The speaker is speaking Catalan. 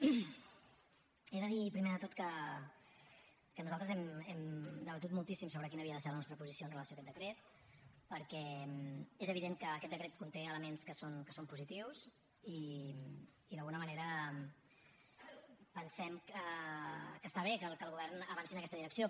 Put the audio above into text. he de dir primer de tot que nosaltres hem debatut moltíssim sobre quina havia de ser la nostra posició amb relació a aquest decret perquè és evident que aquest decret conté elements que són positius i d’alguna manera pensem que està bé que el govern avanci en aquesta direcció